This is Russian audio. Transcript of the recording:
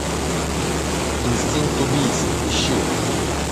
инстинкт убийцы ищи